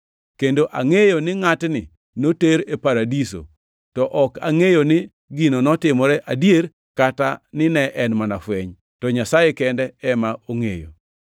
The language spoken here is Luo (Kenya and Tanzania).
Kendo angʼeyo ni ngʼatni noter e paradiso to ok angʼeyo ni gino notimore adier kata nine en mana fweny, to Nyasaye kende ema ongʼeyo.